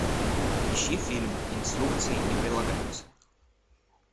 ищи фильм инструкции не прилагаются